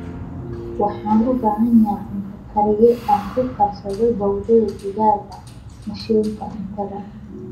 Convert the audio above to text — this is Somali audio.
Waxaan u baahanahay cunto kariye aan ku karsado bowdada digaaga mashiinka cuntada